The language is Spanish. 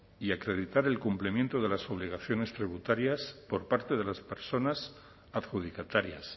y acreditar el cumplimiento de las obligaciones tributarias por parte de las personas adjudicatarias